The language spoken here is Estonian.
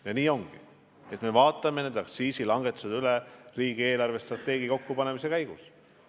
Ja nii ongi: me arutame neid aktsiisilangetusi riigi eelarvestrateegia kokkupanemise käigus.